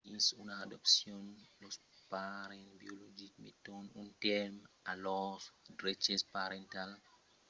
dins una adopcion los parents biologics meton un tèrme a lors dreches parentals per tal qu'un autre parelh pòsca venir parents de l'enfant